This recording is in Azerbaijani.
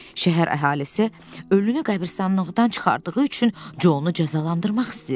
Şəhər əhalisi ölünü qəbiristanlıqdan çıxardığı üçün Conu cəzalandırmaq istəyirdi.